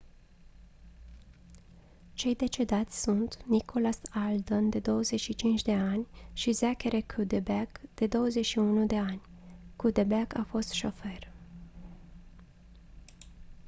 cei decedați sunt nicholas alden de 25 de ani și zachary cuddeback de 21 de ani cuddeback a fost șofer